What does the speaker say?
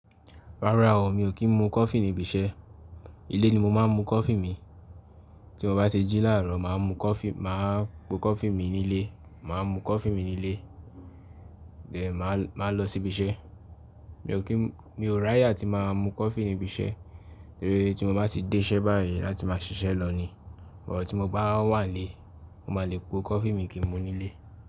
Rárá o, mi ò kí ń mu coffee ní ibi iṣẹ́. Ilé ni mo máa ń mu coffee mi. Tí mo bá ṣe jí láàárọ̀, màá mu coffee, màá po coffee mi nílé, màá mu coffee mi nílé, but màá, màá lọ sí ibi iṣẹ́. Mi ò kí ń, mi ò ráyà tí màá mu coffee ní ibi iṣẹ́, torí tí mo bá ti dé iṣẹ́ báyìí láti máa ṣiṣẹ́ lọ ní, bọ̀ tí mo bá wà nílé, mo máa le po coffee mi kí n mu nílé.